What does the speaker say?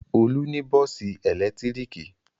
Olú ní bọ́ọ́sì ẹ̀lẹ́tíríkì.